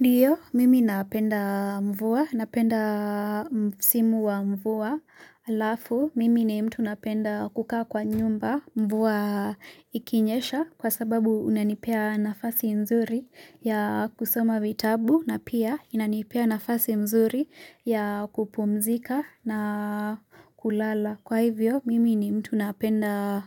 Ndiyo, mimi napenda mvua, napenda msimu wa mvua, alafu mimi ni mtu napenda kukaa kwa nyumba mvua ikinyesha kwa sababu unanipea nafasi nzuri ya kusoma vitabu na pia inanipea nafasi nzuri ya kupumzika na kulala. Kwa hivyo, mimi ni mtu napenda